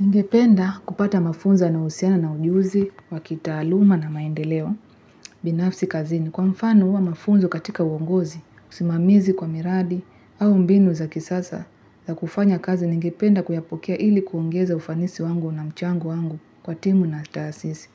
Ningependa kupata mafunzo yanayohusiana na ujuzi, wa kitaaluma na maendeleo, binafsi kazini. Kwa mfano huwa mafunzo katika uongozi, usimamizi kwa miradi, au mbinu za kisasa za kufanya kazi, ningependa kuyapokea ili kuongeza ufanisi wangu na mchango wangu kwa timu na taasisi.